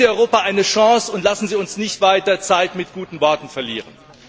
Geben Sie Europa eine Chance und lassen Sie uns nicht weiter Zeit mit guten Worten verlieren!